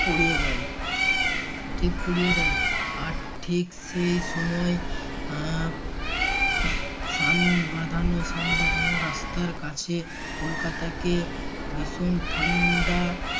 পুড়িয়ে দেয় ঠিক পুড়িয়ে দেয় আর ঠিক সেই সময় আহ সান বাঁধানো সান বাঁধানো রাস্তার কাছে কলকাতাকে ভীষণ ঠান্ডা